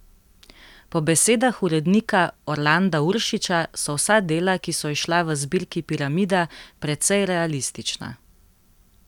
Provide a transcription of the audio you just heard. Po besedah urednika Orlanda Uršiča so vsa dela, ki so izšla v zbirki Piramida, precej realistična.